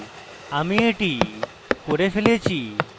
আমি এটি করে ফেলেছি